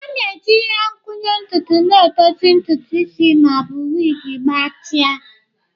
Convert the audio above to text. A na-eji ihe nkwụnye ntutu na-edozi ntutu isi ma ọ bụ wigs gbatịa.